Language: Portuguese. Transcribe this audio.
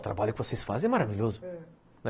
O trabalho que vocês fazem é maravilhoso, ãh